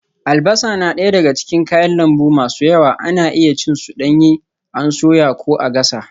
Albasa na daya daga cikin kayan lambu masu yawa, ana iya cin su danye an soya ko a gasa.